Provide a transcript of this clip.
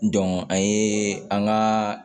a ye an ka